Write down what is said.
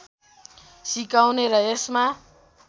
सिकाउने र यसमा